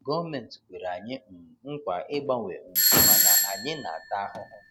Gọọmentị kwere anyị um nkwa ịgbanwe um mana anyị na-ata ahụhụ.